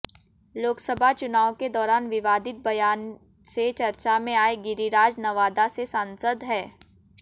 लोकसभा चुनाव के दौरान विवादित बयान से चर्चा में आए गिरिराज नवादा से सांसद हैं